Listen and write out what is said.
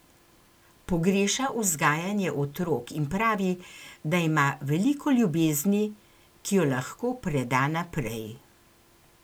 Pogreša vzgajanje otrok in pravi, da ima veliko ljubezni, ki jo lahko preda naprej.